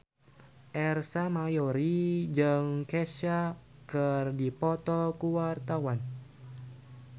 Ersa Mayori jeung Kesha keur dipoto ku wartawan